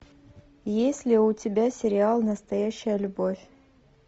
есть ли у тебя сериал настоящая любовь